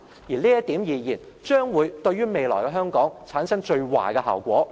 就這點而言，將會對於未來的香港，產生最壞的效果。